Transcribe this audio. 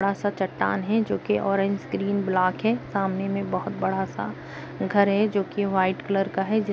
बड़ा सा चट्टान है जोकि ऑरेंज ग्रीन ब्लाक है सामने में बहुत बड़ा सा घर है जोकि वाइट कलर का है जि --